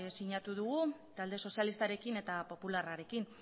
sinatu dugu talde sozialistarekin eta popularrarekin